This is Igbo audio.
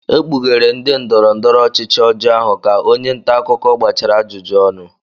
ekpughere ndị ndọrọ ndọrọ ọchịchị ọjọọ ahụ ka onye nta akụkọ gbachara ajụjụ ọnụ